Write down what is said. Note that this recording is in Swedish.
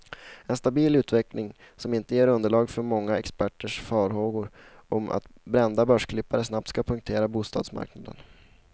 En stabil utveckling, som inte ger underlag för många experters farhågor om att brända börsklippare snabbt ska punktera bostadsmarknaden.